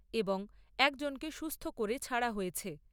এবং একজনকে সুস্থ করে ছাড়া হয়েছে।